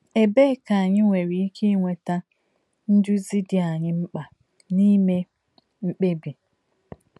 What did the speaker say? Ebee ka anyị nwere ike inweta nduzi dị anyị mkpa n’ime mkpebi